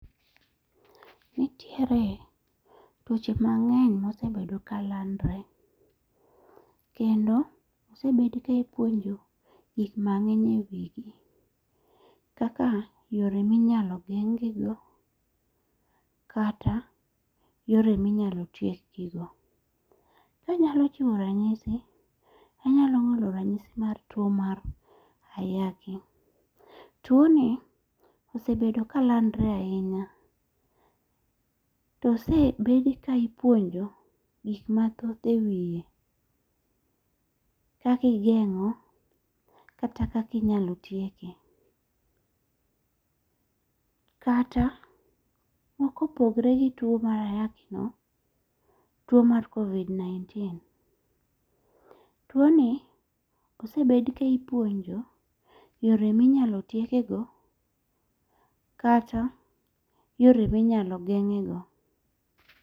Nitiere tuoche mang'eny mosebedo ka landore. Kendo osebed ka ipuonjo gik mang'eny e wigi kaka yore minyalo geng' gi go kata yore minyalo tiek gi go. Ka anyalo chiwo rachisi, anyalo ng'olo ranyisi mar tuo mar ayaki. Tuo ni osebedo ka landore ahinya. To osebed ka ipuonjo gik mathoth e wiye. Kaka igeng'o kata kaka inyalo tieke. Kata mokopgre gi tuo mar ayaki no, tuo mar Covid 19. Tuo ni osebed ka ipuonjo yore minyalo tieke go kata yore minyalo geng'e go.